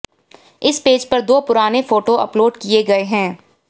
इस पेज पर दो पुराने फोटो अपलोड किए गए हैं